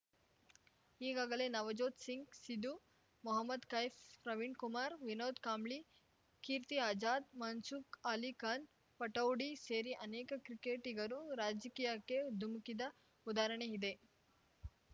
ಈಗಾಗಲೇ ನವ್‌ಜೋತ್‌ ಸಿಂಗ್‌ ಸಿಧು ಮೊಹಮದ್‌ ಕೈಫ್‌ ಪ್ರವೀಣ್‌ ಕುಮಾರ್‌ ವಿನೋದ್‌ ಕಾಂಬ್ಳಿ ಕೀರ್ತಿ ಆಜಾದ್‌ ಮನ್ಸೂರ್‌ ಅಲಿ ಖಾನ್‌ ಪಟೌಡಿ ಸೇರಿ ಅನೇಕ ಕ್ರಿಕೆಟಿಗರು ರಾಜಕೀಯಕ್ಕೆ ಧುಮುಕ್ಕಿದ ಉದಾಹರಣೆ ಇದೆ